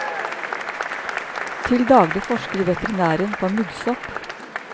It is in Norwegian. Til daglig forsker veterinæren på muggsopp.